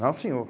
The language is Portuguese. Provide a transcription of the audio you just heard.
Não, senhor.